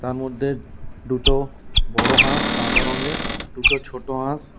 তারমদ্যে দুটো বড় হাঁস সাদা রঙের দুটো ছোট হাঁস।